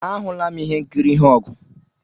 Ahụla m ihe nkiri ihe ogu